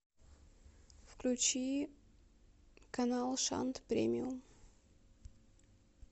включи канал шант премиум